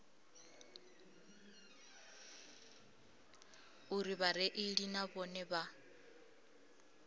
uri vhareili na vhone vha